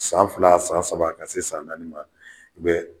San fila san saba ka na se san naani ma